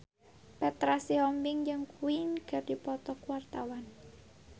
Petra Sihombing jeung Queen keur dipoto ku wartawan